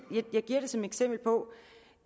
som et eksempel på